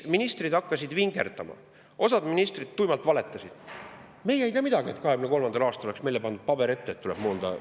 Ministrid hakkasid vingerdama, osa ministreid tuimalt valetas, et nemad ei tea, et 2023. aastal oleks pandud neile ette paber, et tuleb moon.